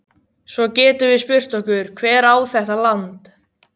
Svo getum við spurt okkur: Hver á þetta land?